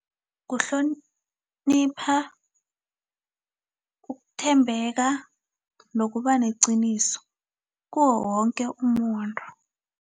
Kuhlonipha, ukuthembeka, nokub neqiniso kuwo woke umuntu.